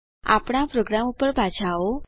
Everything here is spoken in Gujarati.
આપણા પ્રોગ્રામ ઉપર પાછા આવો